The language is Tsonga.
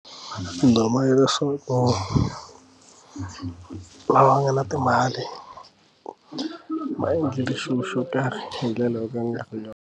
Nduma ya leswaku lava nga na timali ma endlile xilo xo karhi hi ndlela yo ka nkarhi nyana.